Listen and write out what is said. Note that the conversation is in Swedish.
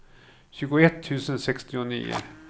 tjugoett tusen sextionio